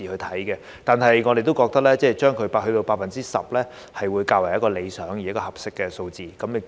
但是，我們都認為 10% 是較為理想而合適的數字。